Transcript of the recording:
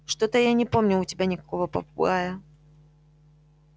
что-то я не помню у тебя никакого попугая